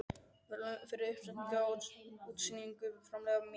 verðlaun fyrir uppsetningu og útstillingu framleiðslu minnar.